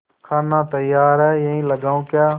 खाना तैयार है यहीं लगाऊँ क्या